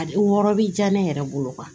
A wɔɔrɔ bi ja ne yɛrɛ bolo